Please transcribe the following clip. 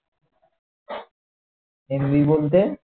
MB বলতে